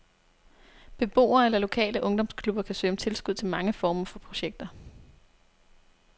Beboere eller lokale ungdomsklubber kan søge om tilskud til mange former for projekter.